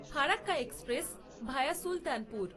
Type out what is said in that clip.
Farakka express via Sultanpur